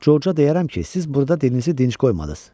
Corca deyərəm ki, siz burda dilinizi dinc qoymadınız.